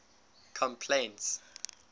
complaints